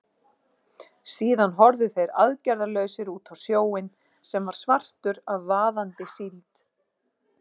Síðan horfðu þeir aðgerðalausir út á sjóinn, sem var svartur af vaðandi síld.